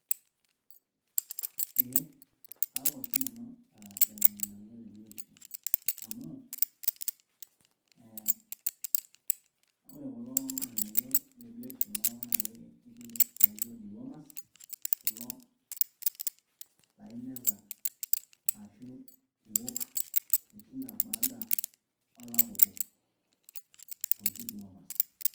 Eeeh kaok oshi nanu lelo ng`anayio le biotisho, amu eeh ore kulo ng`anayio le biotisho laok naa ketii lainyo dewormers kulo laa imeza ashu iok te kila baada olapa obo ooji dewormers.